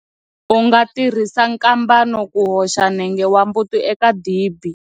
U nga tirhisa nkambana ku hoxa nenge wa mbuti eka dibi.